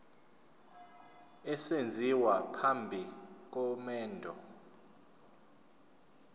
esenziwa phambi komendo